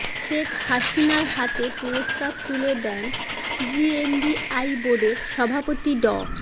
শেখ হাসিনার হাতে পুরস্কার তুলে দেন জিএভিআই বাের্ডের সভাপতি ড